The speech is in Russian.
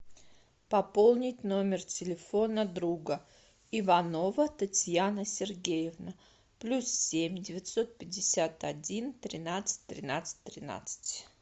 пополнить номер телефона друга иванова татьяна сергеевна плюс семь девятьсот пятьдесят один тринадцать тринадцать тринадцать